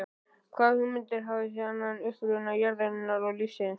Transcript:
Hvaða hugmyndir hafði hann um uppruna jarðarinnar og lífsins?